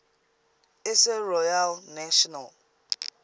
isle royale national